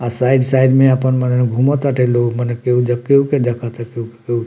अ side side में अपन मने घूमताटे लोग मने केउ झाँकी उकी देखता केउ-केउ।